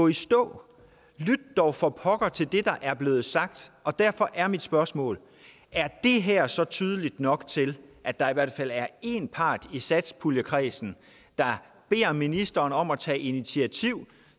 i stå lyt dog for pokker til det der er blevet sagt og derfor er mit spørgsmål er det her så tydeligt nok til at at der i hvert fald er én part i satspuljekredsen der beder ministeren om at tage initiativ